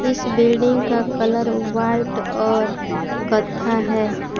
इस बिल्डिंग का colour white और कत्था है।